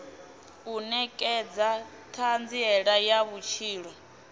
u nekedza thanziela ya vhutshilo